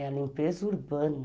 É a limpeza urbana.